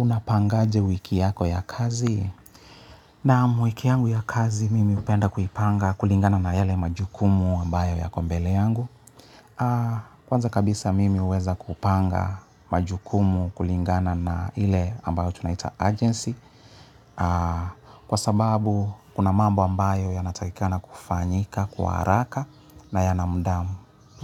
Unapangaje wiki yako ya kazi. Naam wiki yangu ya kazi mimi hupenda kuipanga kulingana na yale majukumu ambayo yako mbele yangu. Kwanza kabisa mimi huweza kupanga majukumu kulingana na ile ambayo tunaita agency. Kwa sababu kuna mambo ambayo yanatakikana kufanyika, kwa haraka na yana muda